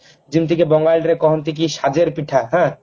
ଯେମିତିକି ବଙ୍ଗାଳୀରେ କହନ୍ତି କି ସାଜର ପିଠା ହାଁ